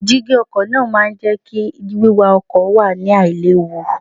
Dígí ọkọ̀ náà máa ń jẹ́ kí wíwa ọkọ̀ wà ní àì léwu.